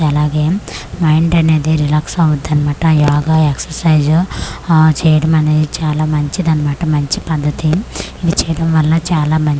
అలాగే మైండ్ అనేది రిలాక్స్ అవ్వుది అన్నమాట యోగా ఎక్సరైజ్ ఆ చేయడం అనేది చాలా మంచిది అన్నమాట మంచి పద్దతి ఇది చేయడం వల్ల చాలా మంచిది.